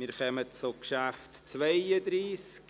Wir kommen zum Traktandum 32,